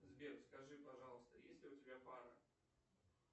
сбер скажи пожалуйста есть ли у тебя пара